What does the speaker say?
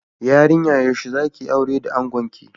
Yarinya yaushe zakiyi aura da angonki?